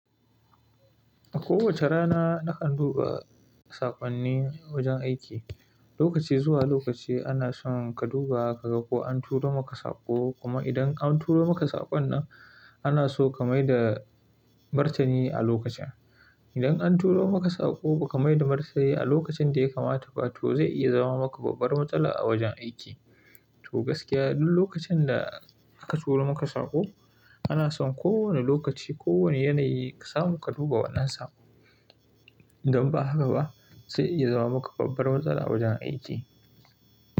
A kowace rana nakan duba saƙonnin wajen aiki. Lokaci zuwa lokaci ana son ka duba ka ga ko an turo maka saƙo. Kuma idan an turo maka saƙon nan ana so ka mai da martani a lokacin. Idan an turo maka saƙo ba ka mai da martani a lokacin da ya kamata ba to zai iya zama maka babbar matsala a wajen aiki. To gaskiya duk lokacin da aka turo maka saƙo ana son kowane lokaci, kowane yanayi ka samu ka duba wannan saƙon. Idan ba haka ba zai iya zama maka babbar matsala a wajen aiki.